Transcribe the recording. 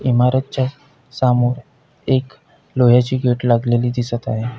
इमारतच्या सामोर एक लोहाची गेट लागलेली दिसत आहे.